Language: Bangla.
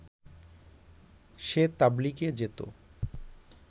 সে তাবলিগে যেত